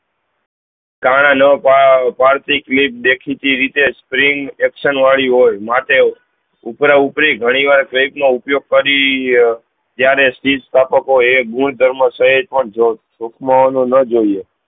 કારણ ન ભાવ પાર્થિક ની દેખી થી એ રીતે જ action વાડી હોય માટે ઉપર ઉપરી ઘણી વાર માં ઉપયોગ કરી જયારે હીજ કપાતો હોય એ ગુણ ધર્મ સહીત ટુંક મા એને જ જોયીયે